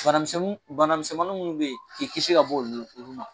Bana misɛnnun bana misɛnmanni munnu be ye, k'i kisi ka b'ɔlu olu ma.